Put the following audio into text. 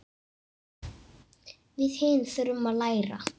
Við hin þurfum að læra.